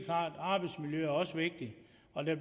det